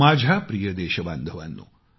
माझ्या प्रिय देश बांधवानो